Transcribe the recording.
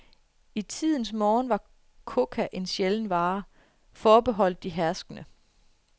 I tidernes morgen var coca en sjælden vare, forbeholdt de herskende.